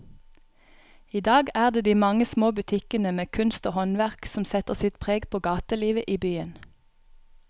I dag er det de mange små butikkene med kunst og håndverk som setter sitt preg på gatelivet i byen.